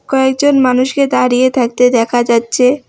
কয়েকজন মানুষকে দাঁড়িয়ে থাকতে দেখা যাচ্ছে।